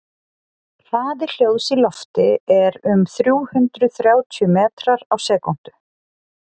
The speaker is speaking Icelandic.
hraði hljóðs í lofti er um þrjú hundruð þrjátíu metrar á sekúndu